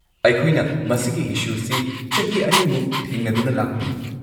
ꯑꯩꯈꯣꯢꯅ ꯃꯁꯤꯒꯤ ꯢꯁꯨꯁꯤ ꯆꯍꯤ ꯑꯅꯤꯃꯨꯛ ꯊꯦꯡꯅꯗꯨꯅ ꯂꯥꯛꯄꯅꯤ꯫